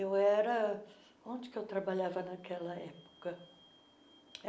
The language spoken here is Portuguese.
Eu era... onde que eu trabalhava naquela época?